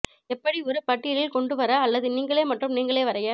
எப்படி ஒரு பட்டியலில் கொண்டு வர அல்லது நீங்களே மற்றும் நீங்களே வரைய